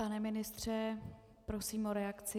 Pane ministře, prosím o reakci.